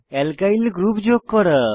alkyl group যুক্ত করা